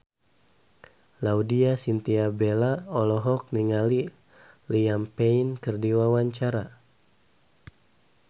Laudya Chintya Bella olohok ningali Liam Payne keur diwawancara